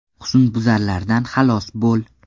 Husnbuzarlardan xalos bo‘l.